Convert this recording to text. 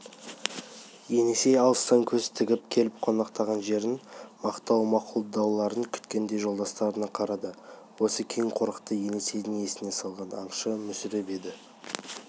есеней алыстан көз тігіп келіп тоқтаған жерін мақтап-мақұлдауларын күткендей жолдастарына қарады осы кең қорықты есенейдің есіне салған аңшы мүсіреп еді